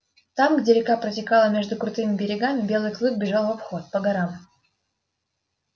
там где река протекала между крутыми берегами белый клык бежал в обход по горам